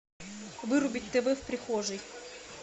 вырубить тв в прихожей